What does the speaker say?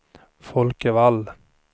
Folke Wall